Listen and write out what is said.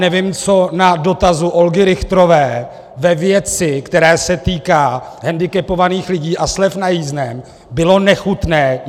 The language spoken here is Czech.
Nevím, co na dotazu Olgy Richterové ve věci, která se týká handicapovaných lidí a slev na jízdném, bylo nechutné.